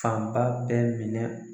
Fanba bɛɛ minɛ.